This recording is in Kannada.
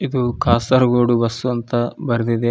ಇದು ಕಾಸರಗೋಡು ಬಸ್ವು ಅಂತ ಬರ್ದಿದೆ.